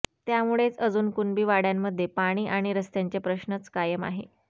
त्यामुळेच अजून कुणबी वाडय़ांमध्ये पाणी आणि रस्त्याचे प्रश्नच कायम आहे